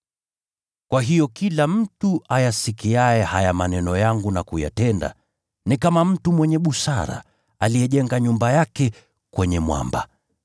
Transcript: “Kwa hiyo kila mtu ayasikiaye haya maneno yangu na kuyatenda, ni kama mtu mwenye busara aliyejenga nyumba yake kwenye mwamba.